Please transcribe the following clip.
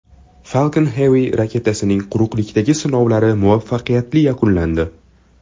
Falcon Heavy raketasining quruqlikdagi sinovlari muvaffaqiyatli yakunlandi.